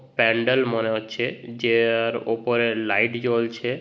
প্যান্ডেল মনে হচ্ছে যেআর ওপরে লাইট জ্বলছে।